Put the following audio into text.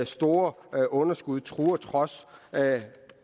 store underskud truer trods